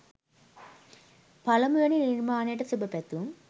පලමු වෙනි නිර්මාණයට සුබ පැතුම්.